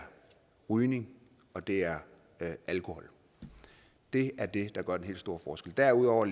rygning og det er alkohol det er det der gør den helt store forskel derudover